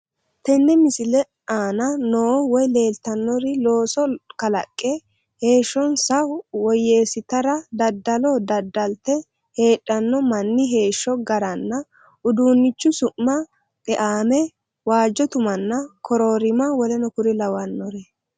Tenne misile anna noo woy lelittanori losso kalaqqe heshahosaa woyesittara daddallo daddalite hedhano manni heshsho garrana uddunichu su'ma xe'ame wajjo tumaana koorrorima wkl